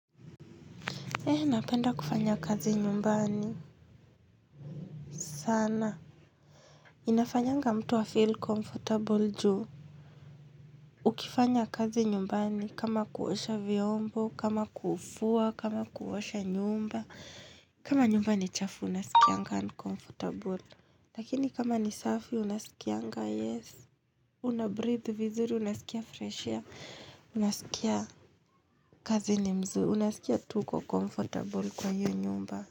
He, napenda kufanya kazi nyumbani. Sana. Inafanyanga mtu a feel comfortable juu. Ukifanya kazi nyumbani kama kuosha vyombo, kama kufua, kama kuosha nyumba. Kama nyumba ni chafu, nasikianga uncomfortable. Lakini kama ni safi, unasikianga, yes. Una breathe vizuri, unasikia fresher air, unasikia kazi ni mzuri, unasikia tu uko comfortable kwa hio nyumba.